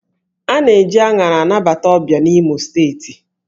A na-eji aṅara anabata ọbịa n'Imo Steeti